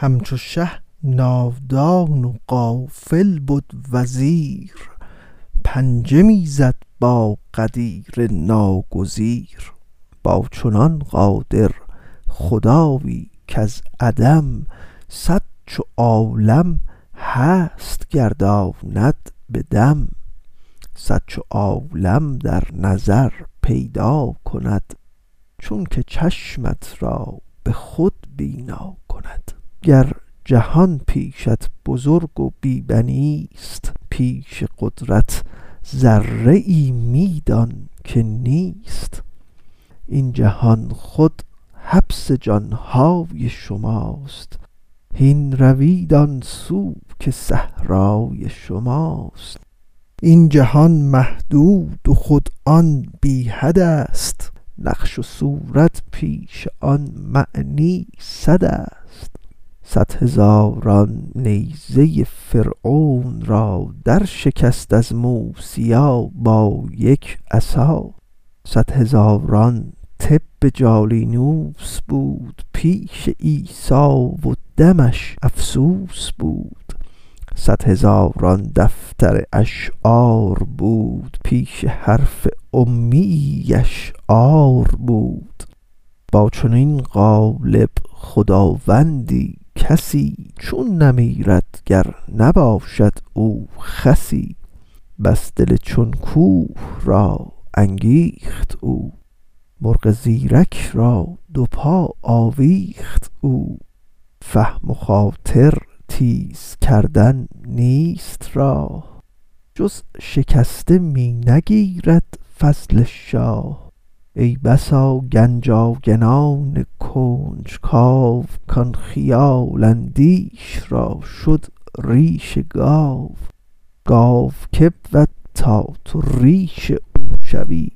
همچو شه نادان و غافل بد وزیر پنجه می زد با قدیم ناگزیر با چنان قادر خدایی کز عدم صد چو عالم هست گرداند بدم صد چو عالم در نظر پیدا کند چونک چشمت را به خود بینا کند گر جهان پیشت بزرگ و بی بنیست پیش قدرت ذره ای می دان که نیست این جهان خود حبس جانهای شماست هین روید آن سو که صحرای شماست این جهان محدود و آن خود بی حدست نقش و صورت پیش آن معنی سدست صد هزاران نیزه فرعون را در شکست از موسیی با یک عصا صد هزاران طب جالینوس بود پیش عیسی و دمش افسوس بود صد هزاران دفتر اشعار بود پیش حرف امیی اش عار بود با چنین غالب خداوندی کسی چون نمیرد گر نباشد او خسی بس دل چون کوه را انگیخت او مرغ زیرک با دو پا آویخت او فهم و خاطر تیز کردن نیست راه جز شکسته می نگیرد فضل شاه ای بسا گنج آگنان کنج کاو کان خیال اندیش را شد ریش گاو گاو که بود تا تو ریش او شوی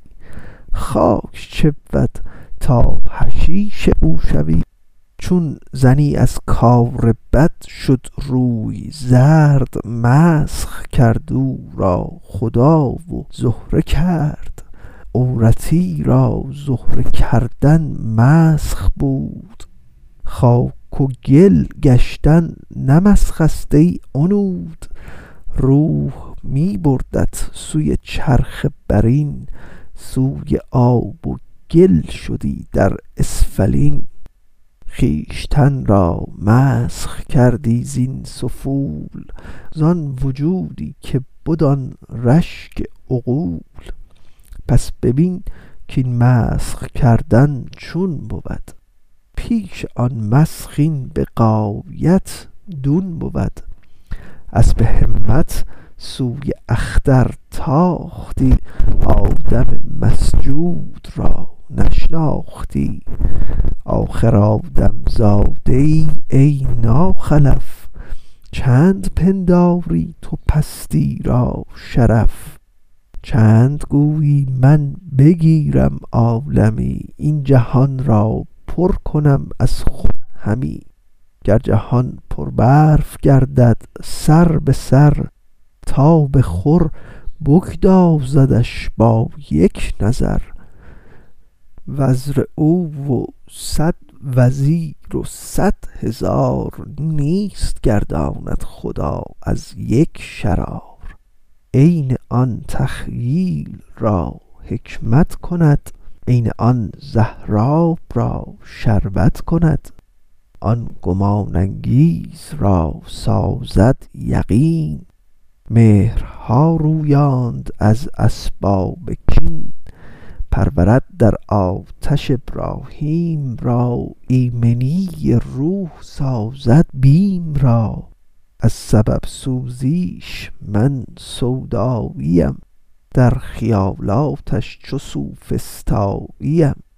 خاک چه بود تا حشیش او شوی چون زنی از کار بد شد روی زرد مسخ کرد او را خدا و زهره کرد عورتی را زهره کردن مسخ بود خاک و گل گشتن نه مسخست ای عنود روح می بردت سوی چرخ برین سوی آب و گل شدی در اسفلین خویشتن را مسخ کردی زین سفول زان وجودی که بد آن رشک عقول پس ببین کین مسخ کردن چون بود پیش آن مسخ این به غایت دون بود اسپ همت سوی اختر تاختی آدم مسجود را نشناختی آخر آدم زاده ای ای ناخلف چند پنداری تو پستی را شرف چند گویی من بگیرم عالمی این جهان را پر کنم از خود همی گر جهان پر برف گردد سربسر تاب خور بگدازدش با یک نظر وزر او و صد وزیر و صدهزار نیست گرداند خدا از یک شرار عین آن تخییل را حکمت کند عین آن زهراب را شربت کند آن گمان انگیز را سازد یقین مهرها رویاند از اسباب کین پرورد در آتش ابراهیم را ایمنی روح سازد بیم را از سبب سوزیش من سوداییم در خیالاتش چو سوفسطاییم